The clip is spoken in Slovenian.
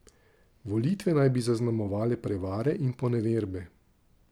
Volitve naj bi zaznamovale prevare in poneverbe.